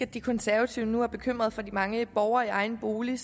at de konservative nu er bekymrede for de mange borgere i egen bolig